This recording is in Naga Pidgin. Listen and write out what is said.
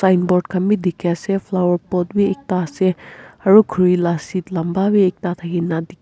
boad khan bhi dekhi ase flower pot bhi ekta ase aru khori laga seat lamba bhi ekta dekhi--